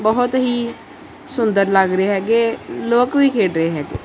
ਬਹੁਤ ਹੀ ਸੁੰਦਰ ਲੱਗ ਰਹੇ ਹੈਗੇ ਲੋਕ ਵੀ ਖੇਡ ਰਹੇ ਹੈਗੇ।